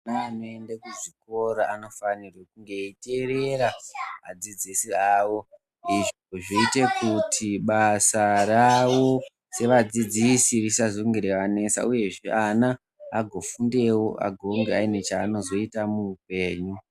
Ana anoeda kuzvikora anofanira kunga eiteerera adzidzisi awo, zvoite kuti basa rawo sevadzidzisi risazonge reianesa, uye ana agofundewo agonge ane chaanozoita muupenyu.